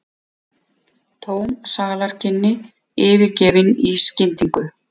Tóm salarkynni yfirgefin í skyndingu.